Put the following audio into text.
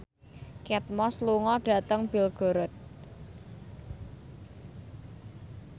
Kate Moss lunga dhateng Belgorod